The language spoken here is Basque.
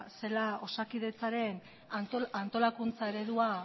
zela osakidetzaren antolakuntza eredua